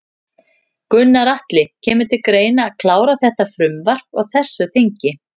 Gunnar Atli: Kemur til greina að klára þetta frumvarp á þessu þingi?